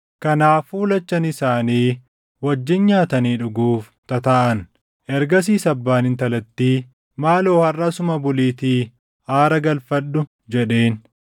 Kanaafuu lachan isaanii wajjin nyaatanii dhuguuf tataaʼan. Ergasiis abbaan intalattii, “Maaloo harʼa asuma buliitii aara galfadhu” jedheen.